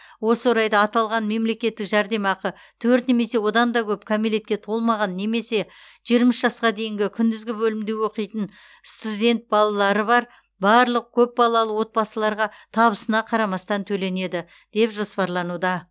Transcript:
осы орайда аталған мемлекеттік жәрдемақы төрт немесе одан да көп кәмелетке толмаған немесе жиырма үш жасқа дейінгі күндізгі бөлімде оқитын студент балалары бар барлық көпбалалы отбасыларға табысына қарамастан төленеді деп жоспарлануда